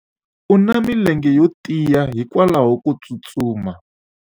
u na milenge yo tiya hikwalaho ko tsustuma